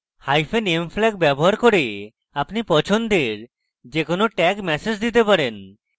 m flag ব্যবহার করে আপনি আপনার পছন্দের যে কোনো tag ম্যাসেজ দিতে পারেন